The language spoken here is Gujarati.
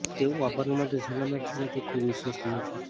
તેઓ વાપરવા માટે સલામત છે અને તે ખૂબ વિશ્વસનીય છે